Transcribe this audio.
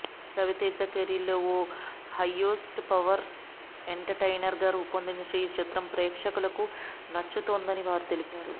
రవితేజ కెరీర్లో ఓ highest power ఎంటర్టైనర్గా రూపొందిన ఈ చిత్రం కుటుంబ ప్రేక్షకులకు నచ్చుతుందని వారు తెలిపారు